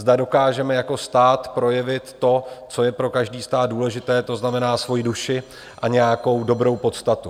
Zda dokážeme jako stát projevit to, co je pro každý stát důležité, to znamená svoji duši a nějakou dobrou podstatu.